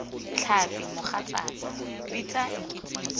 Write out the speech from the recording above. tlhapi mogatsaaka bitsa nkitsing foo